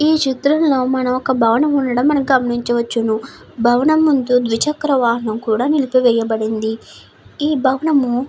ఈ చిత్రంలో మనం ఒక బాణం ఉండడం మనం గమనించవచ్చు. భవనం ముందు ద్విచక్ర వాహనము నిల్పి వేయబ ఉంది .